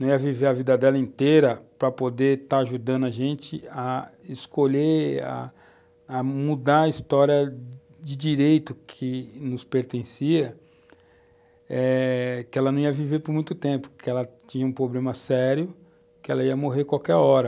não ia viver a vida dela inteira para poder estar ajudando a gente a escolher, a mudar a história de direito que nos pertencia, eh que ela não ia viver por muito tempo, que ela tinha um problema sério, que ela ia morrer qualquer hora.